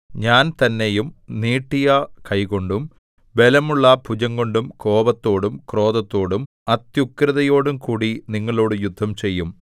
ഞാൻ തന്നെയും നീട്ടിയ കൈകൊണ്ടും ബലമുള്ള ഭുജംകൊണ്ടും കോപത്തോടും ക്രോധത്തോടും അത്യുഗ്രതയോടുംകൂടി നിങ്ങളോട് യുദ്ധം ചെയ്യും